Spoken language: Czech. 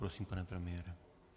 Prosím, pane premiére.